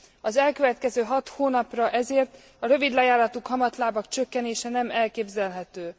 Az elkövetkező hat hónapra ezért a rövidlejáratú kamatlábak csökkenése nem elképzelhető.